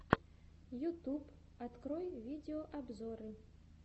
ютуб открой видеообзоры